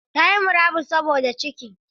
Ta yi murabus saboda cikin.